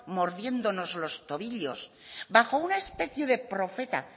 moviéndonos los tobillos bajo una especie de profeta